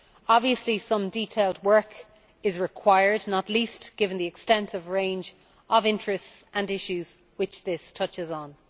Obviously some detailed work is required, not least given the extensive range of interests and issues which this touches on.